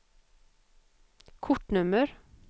kortnummer